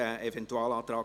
/ Regierungsrat)